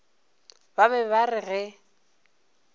ba be ba re ge